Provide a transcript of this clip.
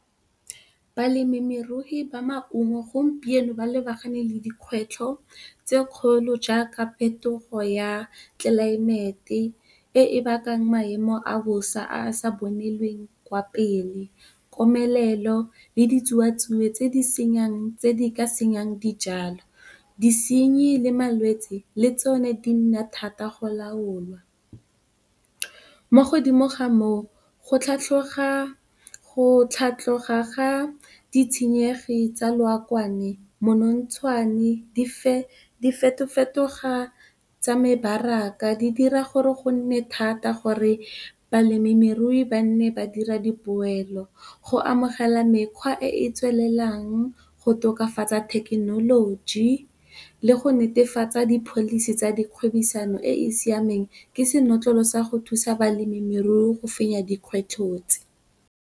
Balemirui ba maungo gompieno, ba lebagane le dikgwetlho tse kgolo jaaka phetogo ya tlelaemete e e bakang maemo a bosa a sa bonelweng kwa pele, komelelo le ditsuwatsuwe tse di ka senyang dijalo. Disenyi le malwetsi le tsone di nna thata go laola mo godimo ga moo, go tlhatlhoga ga ditshenyegi tsa lookwane, monontshwane, diphetogo tsa mebaraka di dira gore go nne thata gore balemirui ba nne ba dira dipoelo. Go amogela mekgwa e e tswelelang, go tokafatsa thekenoloji le go netefatsa di policy tsa dikgwebisano e e siameng ke senotlolo sa go thusa balemirui go fenya dikgwetlho tse.